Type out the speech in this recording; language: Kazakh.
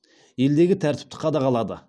елдегі тәртіпті қадағалады